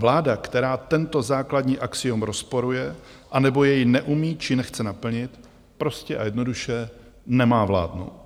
Vláda, která tento základní axiom rozporuje anebo jej neumí či nechce naplnit, prostě a jednoduše nemá vládnout.